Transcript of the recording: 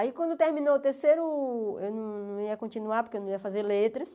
Aí, quando terminou o terceiro, eu não ia continuar, porque eu não ia fazer letras.